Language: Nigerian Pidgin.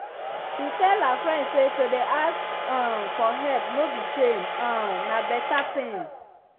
she tell her friend say to dey ask um for help no be shame um na better ting.